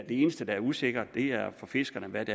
eneste der er usikkert er for fiskerne hvad